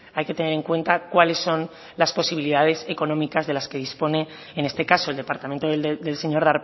hay que tener en cuenta cuáles son las posibilidades económicas de las que dispone en este caso el departamento del señor